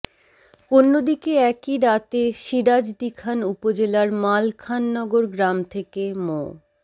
অন্যদিকে একই রাতে সিরাজদিখান উপজেলার মালখানগর গ্রাম থেকে মো